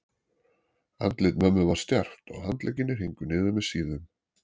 Andlit mömmu var stjarft og handleggirnir héngu niður með síðum.